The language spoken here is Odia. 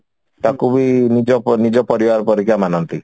ତାକୁ ବି ନିଜ ନିଜ ପରିବାର ପରିକା ମାନନ୍ତି